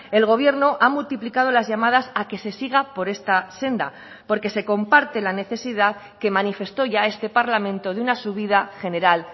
el gobierno ha multiplicado las llamadas a que se siga por esta senda porque se comparte la necesidad que manifestó ya este parlamento de una subida general